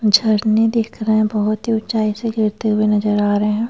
झरने दिख रहे हैं बहुत ही ऊंचाई से गिरते हुए नजर आ रहे हैं।